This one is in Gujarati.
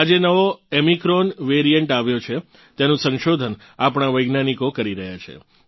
આ જે નવો ઓમિક્રોન વેરીયન્ટ આવ્યો છે તેનું સંશોધન આપણાં વૈજ્ઞાનિકો કરી રહ્યાં છે